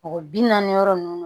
Mɔgɔ bi naani yɔrɔ nunnu